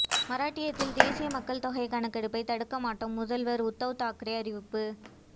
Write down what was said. மராட்டியத்தில் தேசிய மக்கள் தொகை கணக்கெடுப்பை தடுக்க மாட்டோம் முதல்வர் உத்தவ் தாக்கரே அறிவிப்பு